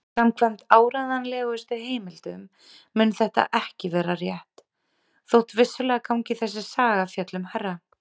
Samkvæmt áreiðanlegustu heimildum mun þetta ekki vera rétt, þótt vissulega gangi þessi saga fjöllum hærra.